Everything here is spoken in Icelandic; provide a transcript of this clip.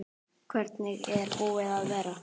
Hvernig er búið að vera?